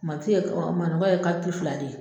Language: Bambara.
Maki ye e manɔgɔ ye ka liteti fila de ye